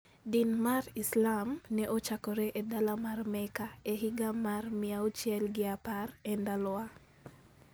Din mar Islam ne ochakore e dala mar Mecca e higa mar 610 E Ndalowa.